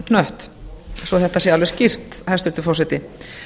gervihnött svo þetta sé alveg skýrt hæstvirtur forseti